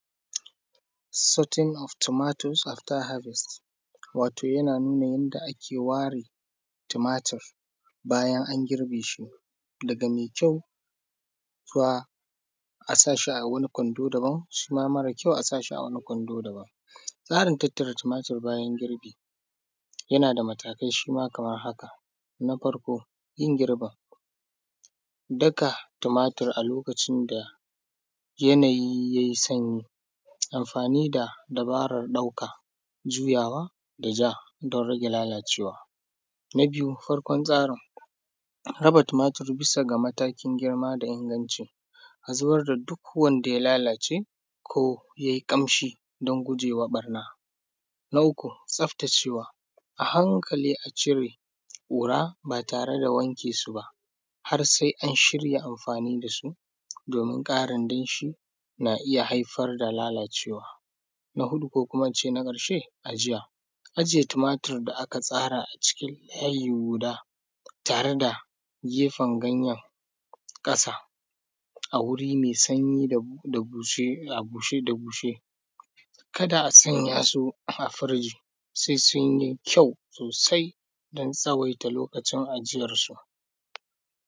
sorting of tomatoes after harvest wato yana nuna yanda ake ware tumatur bayan an girbe shi daga mai kyau zuwa a sa shi a wani kwando na daban shi ma mara kyau a sa shi a wani kwando daban tsarin tattara tumatur bayan girbi yana da matakai shi ma kamar haka na farko yin girbin daka tumatur a lokacin da yanayi ya yi sanyi amfani da dabarar ɗauka juyawa da ja don rage lalacewa na biyu farkon tsarin raba tumatur bisa ga matakin girma da inganci a zubar da duk wanda ya lalace ko ya yi ƙam shi don guje wa ɓarna na uku tsaftacewa a hankali a cire ƙura ba tare da wanke su ba har sai an shirya amfani da su domin ƙarin danshi na iya haifar da lalacewa na huɗu ko kuma in ce na ƙarshe ajiya ajiye tumatur da aka tsara a cikin layi guda tare da gefen ganyen ƙasa a wuri mai sanyi a bushe da bushe kada a sanya su a fridge sai sun yi kyau sosai don tsawaita lokacin ajiyarsu